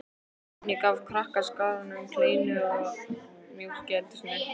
Oddný gaf krakkaskaranum kleinur og mjólk í eldhúsinu.